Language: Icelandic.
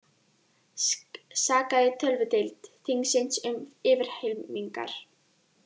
Sakaði tölvudeild þingsins um yfirhylmingar